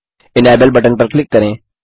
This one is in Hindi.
इनेबल बटन पर क्लिक करें